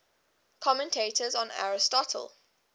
commentators on aristotle